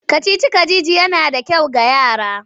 Kacici-kacici yana da kyau ga yara.